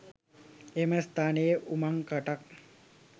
එම ස්ථානයේ උමංකටක්